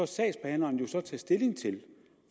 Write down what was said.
sagsbehandleren jo så tage stilling til